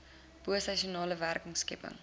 bo seisoenale werkskepping